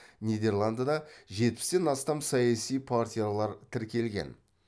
нидерландыда жетпістен астам саяси партиялар тіркелген